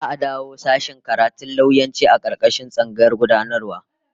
Za'a dawo da sashen karatun lauyanci a karkashin tsangayar gudanarwa